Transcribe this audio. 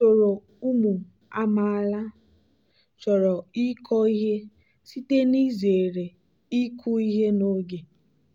usoro ụmụ amaala chọrọ ịkọ ihe site n'izere ịkụ ihe n'oge.